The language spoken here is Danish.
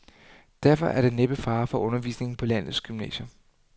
Derfor er der næppe fare for undervisningen på landets gymnasier.